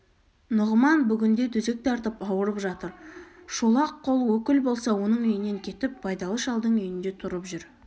нұғыман бүгінде төсек тартып ауырып жатыр шолақ қол өкіл болса оның үйінен кетіп байдалы шалдың үйінде тұрып жүр